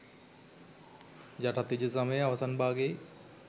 යටත්විජිත සමයේ අවසන් භාගයේ